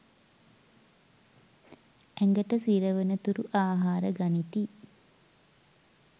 ඇඟට සිරවනතුරු ආහාර ගනිති